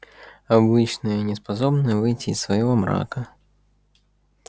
обычные неспособные выйти из своего мрака